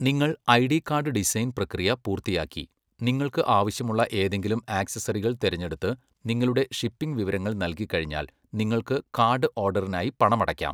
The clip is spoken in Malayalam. നിങ്ങൾ ഐഡി കാർഡ് ഡിസൈൻ പ്രക്രിയ പൂർത്തിയാക്കി, നിങ്ങൾക്ക് ആവശ്യമുള്ള ഏതെങ്കിലും ആക്സസറികൾ തിരഞ്ഞെടുത്ത്, നിങ്ങളുടെ ഷിപ്പിംഗ് വിവരങ്ങൾ നൽകിക്കഴിഞ്ഞാൽ, നിങ്ങൾക്ക് കാർഡ് ഓർഡറിനായി പണമടയ്ക്കാം.